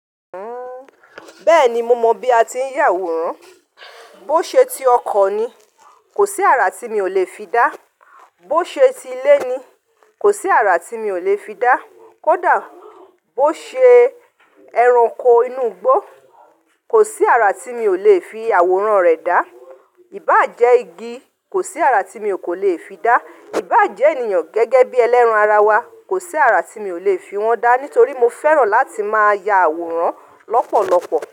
Uhm, bẹ́ẹ̀ni mo mọ bí a ti ń ya àwòrán. Bó ṣe ti ọkọ̀ ni, kò sí àrà tí mi ò lè fi dá. Bó ṣe ti ilé ni, kò sí àrà tí mi ò lè fi dá. Kódà bó ṣe ẹranko inú igbó, kò sí àrà tí mi ò lè fi àwòrán rẹ̀ dá. Ìbàjẹ́ igi, kò sí àrà tí mi kò lè fi dá. Ìbàjẹ́ ènìyàn gẹ́gẹ́ bí ẹlẹ́ran ara wa, kò sí àrà tí mi ò lè fi wọ́n dá nítorí mo fẹ́ràn láti máa ya àwòrán lọ́pọ̀lọpọ̀